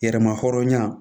Yɛrɛma hɔrɔnya